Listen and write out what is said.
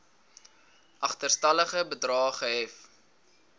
agterstallige bedrae gehef